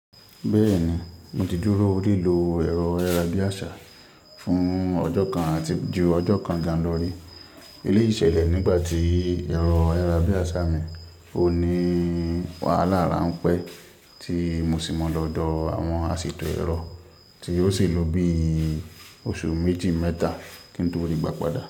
Bẹ́ẹ̀ni, mo ti dúró lílo ẹ̀rọ ayara Biasha fún ọjọ́ kan àti ju ọjọ́ kan jà lọ rí. Eléyìí ṣẹlẹ̀ nígbà tí ẹ̀rọ ayara Biasha mi ò ní wàhálà ránpẹ́ tí mo sì mọ lọ́dọ̀ àwọn àṣètò ẹ̀rọ tí yóò sì lọ bí oṣù méjì mẹ́ta kí n tó rí i gbà padà.